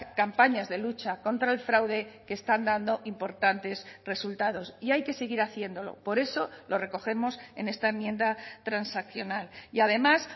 campañas de lucha contra el fraude que están dando importantes resultados y hay que seguir haciéndolo por eso lo recogemos en esta enmienda transaccional y además